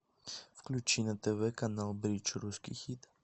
включи на тв канал бридж русский хит